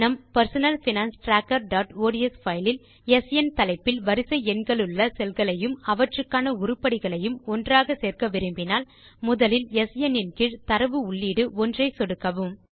நம் personal finance trackerஒட்ஸ் file இல் ஸ்ன் தலைப்பில் வரிசை எண்களுள்ள செல்களையும் அவற்றுக்கான உருப்படிகளையும் ஒன்றாக சேர்க்க விரும்பினால் முதலில் ஸ்ன் கீழ் தரவு உள்ளீடு 1 ஐ சொடுக்கவும்